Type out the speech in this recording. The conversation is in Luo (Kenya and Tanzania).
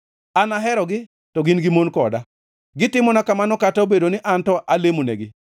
An aherogi to gin to gimon koda. Gitimona kamano kata obedo ni an to alemonegi.